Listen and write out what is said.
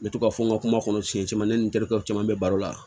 N bɛ to ka fɔ n ka kuma kɔnɔ siɲɛ caman ne ni n terikɛw caman bɛ baro la